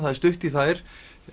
það er stutt í þær